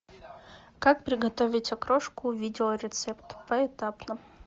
как приготовить окрошку видео рецепт поэтапно